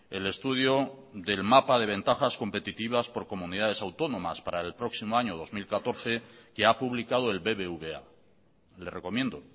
el estudio del mapa de ventajas competitividad por comunidades autónomas para el próximo año dos mil catorce que ha publicado el bbva le recomiendo